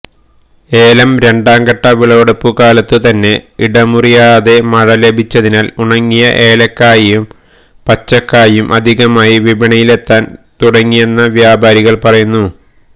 ഏലം രണ്ടാംഘട്ട വിളവെടുപ്പുകാലത്തു തന്നെ ഇടമുറിയാതെ മഴ ലഭിച്ചതിനാല് ഉണങ്ങിയ ഏലയ്ക്കായും പച്ചക്കായും അധികമായി വിപണിയിലെത്താന് തുടങ്ങിയെന്ന് വ്യാപാരികള് പറയുന്നു